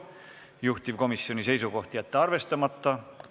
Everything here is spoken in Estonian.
Juhtivkomisjoni seisukoht: jätta arvestamata.